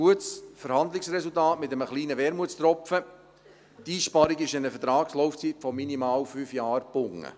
Ein gutes Verhandlungsresultat mit einem kleinen Wermutstropfen: Die Einsparung ist an eine Vertragslaufzeit von minimal fünf Jahren gebunden.